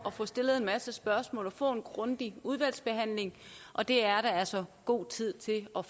at få stillet en masse spørgsmål og få en grundig udvalgsbehandling og det er der altså god tid til at